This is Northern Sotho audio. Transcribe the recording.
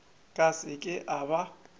ka se ke a ba